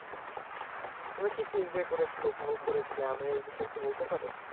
তুমি কি কি enjoy করেছিলে উপভোগ করেছিলে আমায় ওই বিষয়ে একটু বলতে পারো।